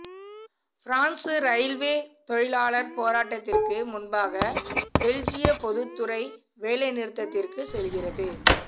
France railway தொழிலாளர் போராட்டத்திற்கு முன்பாக பெல்ஜிய பொதுத்துறை வேலைநிறுத்தத்திற்கு செல்கிறது